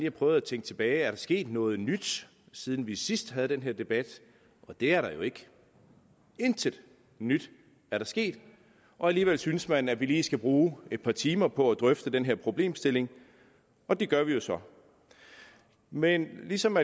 og prøvede at tænke tilbage er der sket noget nyt siden vi sidst havde den her debat og det er der jo ikke intet nyt er der sket og alligevel synes man vi lige skal bruge et par timer på at drøfte den her problemstilling og det gør vi jo så men ligesom